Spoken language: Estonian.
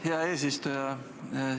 Hea eesistuja!